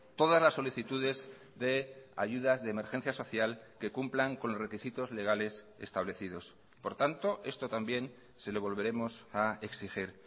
todas las solicitudes de ayudas de emergencia social que cumplan con los requisitos legales establecidos por tanto esto también se lo volveremos a exigir